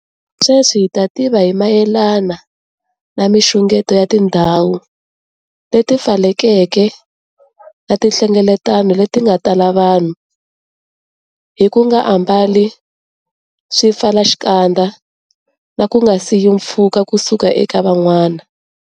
Sweswi ha tiva hi mayelana na mixungeto ya tindhawu leti pfalekeke na tinhlengeletano leti nga tala vanhu, hi ku nga ambali swipfalaxikandza na ku nga siyi mpfhuka kusuka eka van'wana.